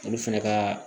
Olu fɛnɛ kaa